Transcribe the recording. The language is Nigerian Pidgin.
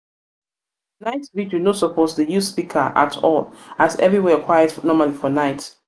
night vigil no suppose dey use speaker at all as evriwhere quiet normally for night